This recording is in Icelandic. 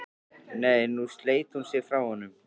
Nei, nú sleit hún sig frá honum.